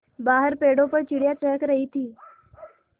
बाहर पेड़ों पर चिड़ियाँ चहक रही थीं